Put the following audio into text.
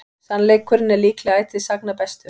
Sannleikurinn er líklega ætíð sagna bestur.